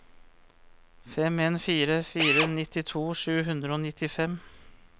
fem en fire fire nittito sju hundre og nittifem